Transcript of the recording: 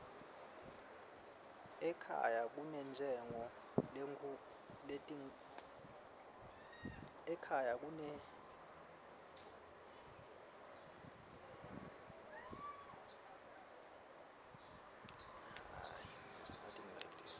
ekhaya kunentshengo lenkitulu katchulu